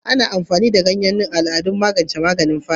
Ana amfani da ganyen Neem a al'ada don magance yanayin fata,